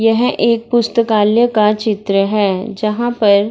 ये है एक पुस्तकालय का चित्र है जहाँ पर --